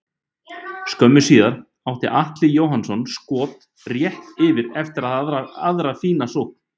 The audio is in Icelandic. Skömmu síðar átti Atli Jóhannsson skot rétt yfir eftir aðra fína sókn.